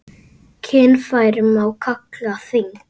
Kynfæri má kalla þing.